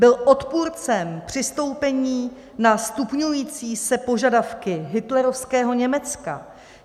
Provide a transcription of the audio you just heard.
Byl odpůrcem přistoupení na stupňující se požadavky hitlerovského Německa.